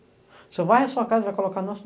O senhor vai à sua casa e vai colocar no nosso?